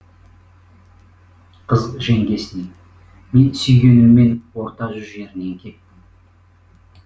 қыз жеңгесіне мен сүйгеніммен орта жүз жерінен кеттім